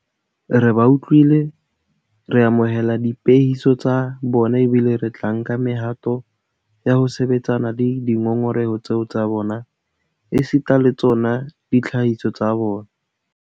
Re ba utlwile, re amohela diphehiso tsa bona ebile re tla nka mehato ya ho sebetsana le dingongoreho tseo tsa bona esita le tsona ditlhahiso tsa bona.